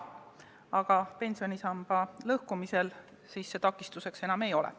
Aga pensionisamba lõhkumisel see takistuseks ei ole.